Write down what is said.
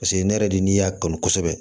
Paseke ne yɛrɛ de y'a kanu kosɛbɛ